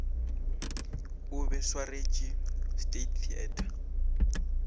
o be swarwetše state theater